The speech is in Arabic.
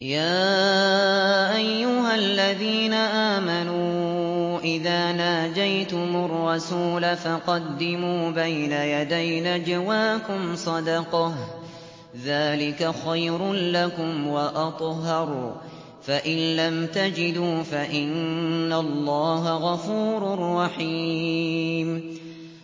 يَا أَيُّهَا الَّذِينَ آمَنُوا إِذَا نَاجَيْتُمُ الرَّسُولَ فَقَدِّمُوا بَيْنَ يَدَيْ نَجْوَاكُمْ صَدَقَةً ۚ ذَٰلِكَ خَيْرٌ لَّكُمْ وَأَطْهَرُ ۚ فَإِن لَّمْ تَجِدُوا فَإِنَّ اللَّهَ غَفُورٌ رَّحِيمٌ